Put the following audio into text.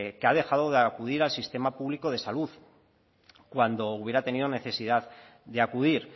que ha dejado de acudir al sistema público de salud cuando hubiera tenido necesidad de acudir